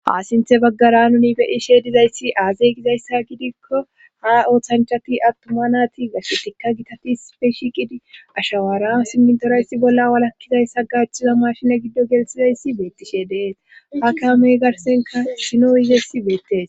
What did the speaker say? asinthe baggara nuni beyishee dizayssi aazey gizayssa gidikko ha oothanchati attuma naati gassetikka gitatis peshi qidi ashawaaran simntorayssi bolla walakkizayssa gaachiza mashine giddo gelsizayssi beettishe dees hakeamey garsenka sino yizeyssi beettees